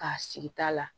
K'a sigi ta la